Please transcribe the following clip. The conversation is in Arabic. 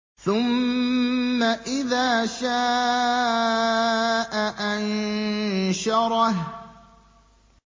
ثُمَّ إِذَا شَاءَ أَنشَرَهُ